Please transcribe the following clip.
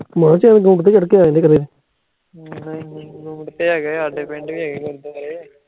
ਤੇ ਹੈਗਾ ਏ, ਸਾਢੇ ਪਿੰਡ ਵੀ ਹੈਗਾ ਗੁਰੁਦ੍ਵਾਰੇ